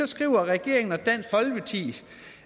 skriver regeringen og dansk folkeparti